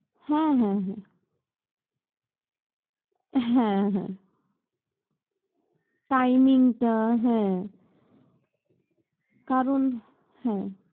হ্যাঁ হ্যাঁ হ্যাঁ, হ্যাঁ হ্যাঁ। timing টা হ্যাঁ কারণ হ্যাঁ